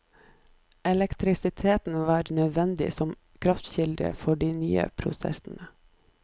Elektrisiteten var nødvendig som kraftkilde for de nye prosessene.